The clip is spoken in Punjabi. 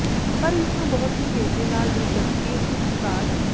ਪਰ ਇਸ ਨੂੰ ਬਹੁਤ ਹੀ ਤੇਜ਼ੀ ਨਾਲ ਦਿਲਚਸਪੀ ਖਪਤਕਾਰ